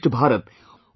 Shrestha Bharat